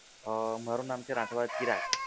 અ મારુ નામ છે રાઠવા ચિરાગ.